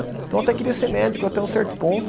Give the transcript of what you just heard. Então eu até queria ser médico até um certo ponto.